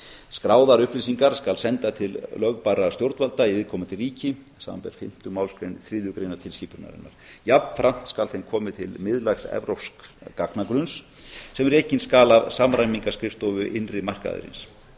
skráðar upplýsingar skal senda til lögbærra stjórnvalda í viðkomandi ríki samanber fimmtu málsgrein þriðju greinar tilskipunarinnar jafnframt skal þeim komið til miðlægs evrópsks gagnagrunns sem rekinn skal af samræmingarskrifstofu innri markaðarins